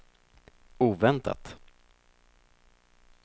oväntat